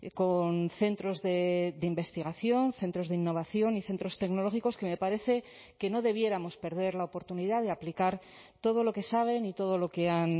con centros de investigación centros de innovación y centros tecnológicos que me parece que no debiéramos perder la oportunidad de aplicar todo lo que saben y todo lo que han